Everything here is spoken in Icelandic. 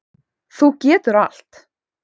Þú getur allt.